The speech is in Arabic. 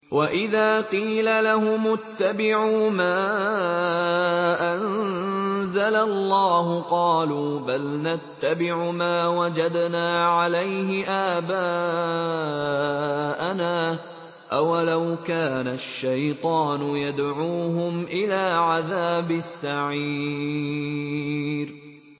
وَإِذَا قِيلَ لَهُمُ اتَّبِعُوا مَا أَنزَلَ اللَّهُ قَالُوا بَلْ نَتَّبِعُ مَا وَجَدْنَا عَلَيْهِ آبَاءَنَا ۚ أَوَلَوْ كَانَ الشَّيْطَانُ يَدْعُوهُمْ إِلَىٰ عَذَابِ السَّعِيرِ